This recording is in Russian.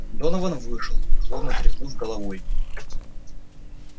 донован вышел злобно тряхнув головой